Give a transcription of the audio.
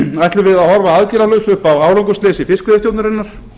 ætlum við að horfa aðgerðalaus upp á árangursleysi fiskveiðistjórnarinnar